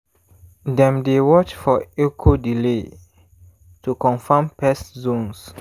dem dey watch for echo delay to confirm pest zones.